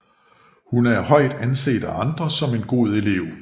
Hun er højt anset af andre som en god elev